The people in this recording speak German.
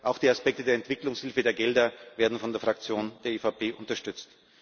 Auch die Aspekte der Entwicklungshilfe, der Gelder, werden von der Fraktion der EVP unterstützt.